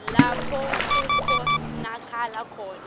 lapho kukhonakala khona